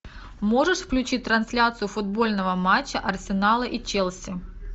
можешь включить трансляцию футбольного матча арсенала и челси